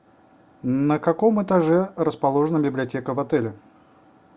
на каком этаже расположена библиотека в отеле